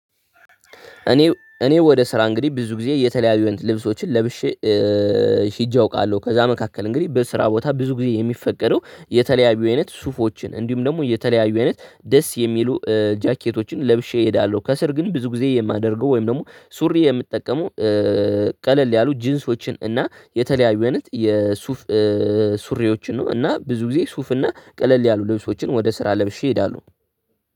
እኔ ወደ ስራ እንግዲህ ብዙ ጊዜ የተለያዩ ልብሶችን ለብሼ ሄጄ አውቃለሁ። ከዛ መካከል እንግዲህ በስራ ቦታ ብዙ ጊዜ የሚፈቀደው የተለያዩ አይነት ሱፎችን እንዲሁም ደግሞ የተለያዩ አይነት ደስ የሚሉ ጃከቶችን ለብሼ እሄዳለሁ ከስር ግን ብዙ ጊዜ የማደርገው ወይም ደግሞ ሱሪ የምጠቀመው ቀለል ያሉ ጅንሶችን እና የተለያዩ አይነት የሱፍ ሱሪዎችን ነው። እና ብዙ ጊዜ ሱፍ እና ቀለል ያሉ ልብሶችን ወደ ስራ ለብሼ ሄዳሉ